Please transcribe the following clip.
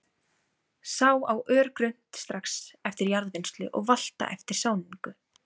Sá á örgrunnt, strax eftir jarðvinnslu og valta eftir sáningu.